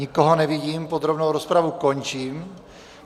Nikoho nevidím, podrobnou rozpravu končím.